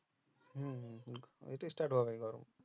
হু হু হু ঐতো start হবে গরম